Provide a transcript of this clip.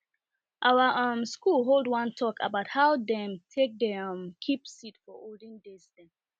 our um school hold one talk about how dem take dey um keep seed for olden days um